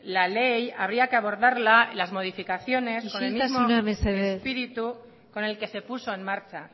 la ley habría que abordarla las modificaciones isiltasuna mesedez con el mismo espíritu con el que se puso en marcha